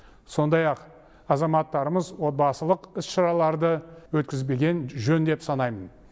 сондай ақ азаматтарымыз отбасылық іс шараларды өткізбеген жөн деп санаймын